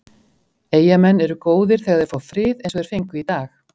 Eyjamenn eru góðir þegar þeir fá frið eins og þeir fengu í dag.